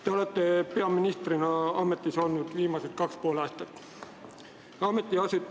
Te olete peaministrina ametis olnud viimased kaks ja pool aastat.